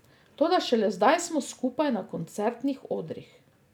Toda šele zdaj smo skupaj na koncertnih odrih.